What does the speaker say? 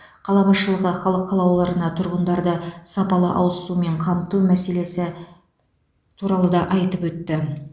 қала басшылығы халық қалаулыларына тұрғындарды сапалы ауызсумен қамту мәселелесі туралы да айтып өтті